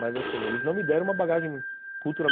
Mas eles não me deram uma bagagem cultural.